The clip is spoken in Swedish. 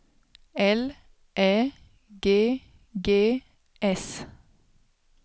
L Ä G G S